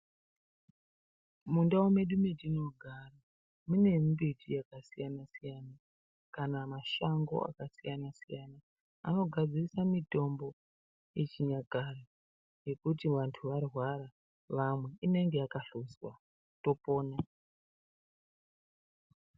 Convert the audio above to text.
Mundau medu matinogara mune mbiti yakasiya siyana kana mashango akasiyana siyana anogadzirisa mitombo yechinyakare yekuti vanhu varwara vamwe voraramiswa vopona.